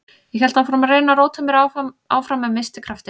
Ég hélt áfram að reyna að róta mér áfram en missti kraftinn.